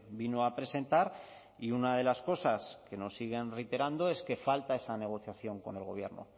vino a presentar y una de las cosas que nos siguen reiterando es que falta esa negociación con el gobierno